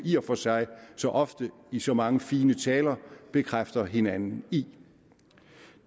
i og for sig så ofte i så mange fine taler bekræfter hinanden i